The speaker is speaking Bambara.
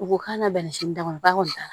U ko k'a na bɛnɛ sini damɔ ba kɔni t'a